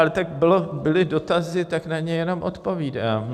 Ale tak byly dotazy, tak na ně jenom odpovídám.